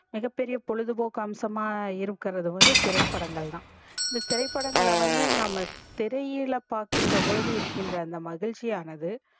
மிகபெரிய பொழுதுபோக்கு அம்சமா இருகர்த்து வந்து திரைப்படங்கள் தா திரைப்படங்கள வந்து நாம திரையில பாக்கின்ற போது இருகின்ற அந்த மகிழ்ச்சி ஆனது